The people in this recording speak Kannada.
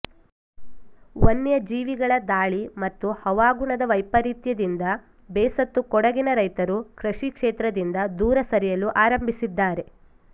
ವನ್ಯಜೀವಿಗಳ ದಾಳಿ ಮತ್ತು ಹವಾಗುಣದ ವೈಪರೀತ್ಯದಿಂದ ಬೇಸತ್ತು ಕೊಡಗಿನ ರೈತರು ಕೃಷಿ ಕ್ಷೇತ್ರದಿಂದ ದೂರ ಸರಿಯಲು ಆರಂಭಿಸಿದ್ದಾರೆ